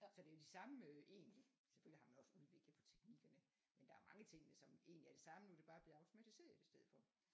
Så det er de samme egentlig selvfølgelig har man også udviklet på teknikkerne men der er mange af tingene som egentlig er det samme nu er det bare blevet automatiseret i stedet for